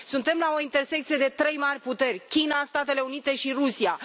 Suntem la o intersecție de trei mari puteri China, Statele Unite și Rusia.